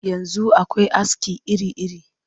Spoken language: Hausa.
Yanzu akwai aski iri-iri